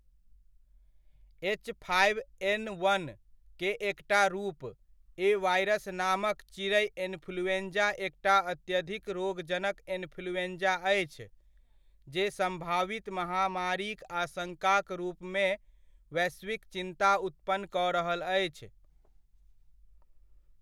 H five N वन'क एकटा रूप, ए वायरस नामक चिड़ै इन्फ्लूएंजा एकटा अत्यधिक रोगजनक इन्फ्लूएंजा अछि जे सम्भावित महामारीक आशङ्काक रूपमे वैश्विक चिन्ता उत्पन्न कऽ रहल अछि।